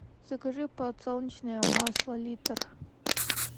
закажи подсолнечное масло литр